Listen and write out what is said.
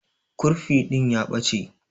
Kurfi din ya Bache.